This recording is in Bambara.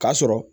K'a sɔrɔ